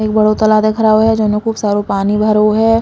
एक बड़ो तालाब दिख रहो है जोन में खूब सारो पानी भरो है।